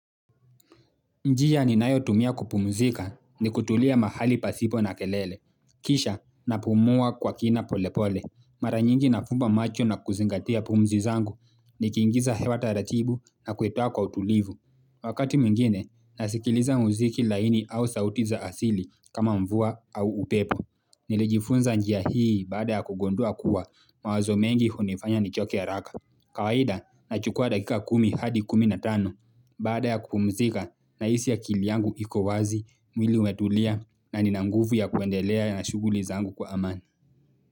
Njia ninayotumia kupumzika ni kutulia mahali pasipo na kelele. Kisha napumua kwa kina polepole. Mara nyingi nafumba macho na kuzingatia pumzi zangu nikingiza hewa taratibu na kuitoa kwa utulivu. Wakati mwingine, nasikiliza muziki laini au sauti za asili kama mvua au upepo. Nilijifunza njia hii baada ya kugundua kuwa mawazo mengi hunifanya nichoke haraka. Kawaida nachukua dakika kumi hadi kumi na tano. Baada ya kupumzika nahisi akili yangu iko wazi, mwili umetulia na nina nguvu ya kuendelea na shughuli zangu kwa amani.